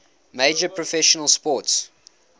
major professional sports